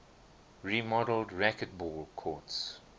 remodeled racquetball courts